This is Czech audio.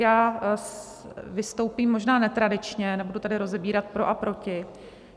Já vystoupím možná netradičně, nebudu tady rozebírat pro a proti.